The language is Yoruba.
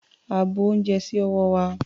A bu ounjẹ sí ọwọ́ wa.